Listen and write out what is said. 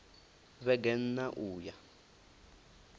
vhege n ṋ a uya